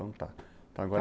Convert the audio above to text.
Então, tá. Então agora